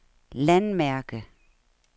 landmærke